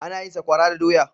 Ana yin Sakwara da doya.